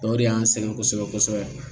O de y'an sɛgɛn kosɛbɛ-kosɛbɛ